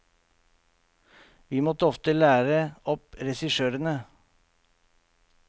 Vi måtte ofte lære opp regissørene.